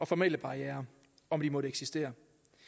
formelle barrierer om de måtte eksistere